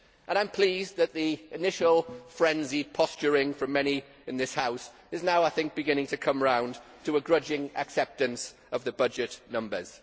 I am pleased that the initial frenzied posturing from many in this House is now, I think, beginning to come around to a grudging acceptance of the budget numbers.